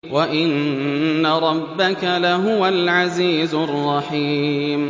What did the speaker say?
وَإِنَّ رَبَّكَ لَهُوَ الْعَزِيزُ الرَّحِيمُ